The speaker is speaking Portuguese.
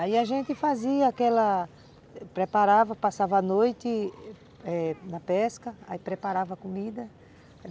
Aí a gente fazia aquela... preparávamos, passávamos a noite eh na pesca, aí preparávamos a comida.